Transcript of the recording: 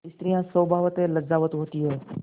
स्त्रियॉँ स्वभावतः लज्जावती होती हैं